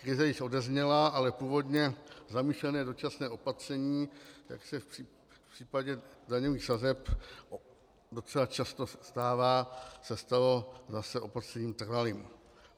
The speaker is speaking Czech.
Krize již odezněla, ale původně zamýšlené dočasné opatření, jak se v případě daňových sazeb docela často stává, se stalo zase opatřením trvalým.